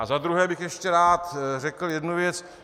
A za druhé bych ještě rád řekl jednu věc.